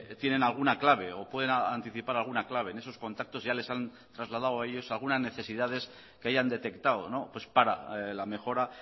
tienen alguna clave o pueden anticipar alguna clave en esos contactos ya les han trasladado a ellos algunas necesidades que hayan detectado para la mejora